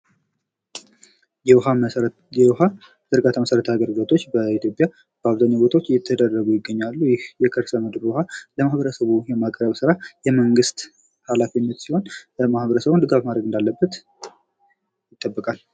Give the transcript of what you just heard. የውሃ ዝርጋታ መሰረተ ልማቶች በኢትዮጵያ በአብዛኛው ቦታዎች እየተደረጉ ይገኛሉ ፤ ይህ የከርሰ ምድር ውሃ ለማህበረሰቡ የማቅረብ ስራ የመንግስት ኃላፊነት ሲሆን ማበረሰቡም ድጋፍ ማድረግ እንዳለበት ይጠበቃል።